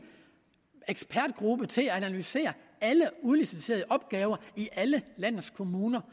ekspertgruppe til at analysere alle udliciterede opgaver i alle landets kommuner